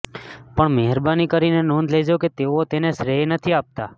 પણ મહેરબાની કરીને નોંધ લેજો કે તેઓ તેને શ્રેય નથી આપતા